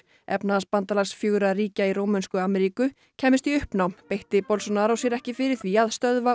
efnahagsbandalags fjögurra ríkja í Rómönsku Ameríku kæmist í uppnám beitti sér ekki fyrir því að stöðva